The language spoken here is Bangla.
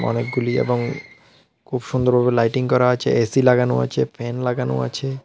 অনেকগুলি এবং খুব সুন্দর ভাবে লাইটিং করা আছে এ_সি লাগানো আচে ফ্যান লাগানো আছে।